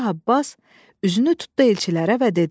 Şah Abbas üzünü tutdu elçilərə və dedi: